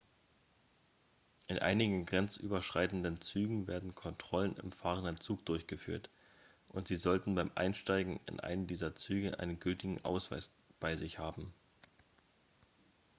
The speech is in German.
in einigen grenzüberschreitenden zügen werden kontrollen im fahrenden zug durchgeführt und sie sollten beim einsteigen in einen dieser züge einen gültigen ausweis bei sich haben